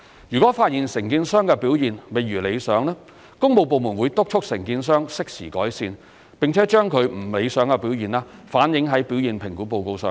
如果發現承建商的表現未如理想，工務部門會督促承建商適時改善，並把其不理想表現反映在表現評估報告上。